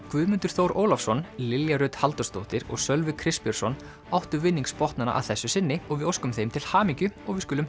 Guðmundur Þór Ólafsson Lilja Rut Halldórsdóttir og Sölvi Kristbjörnsson áttu að þessu sinni og við óskum þeim til hamingju við skulum